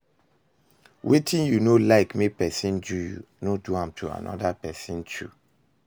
wetin yu no like mek pesin do yu, no do am to pesin too